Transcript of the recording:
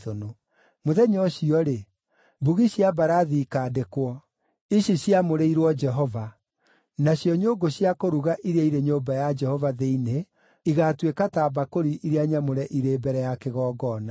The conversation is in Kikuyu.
Mũthenya ũcio-rĩ, mbugi cia mbarathi ikaandĩkwo, ICI CIAMŨRĨIRWO JEHOVA, nacio nyũngũ cia kũruga iria irĩ nyũmba ya Jehova thĩinĩ igaatuĩka ta mbakũri iria nyamũre irĩ mbere ya kĩgongona.